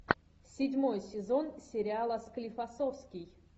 седьмой сезон сериала склифосовский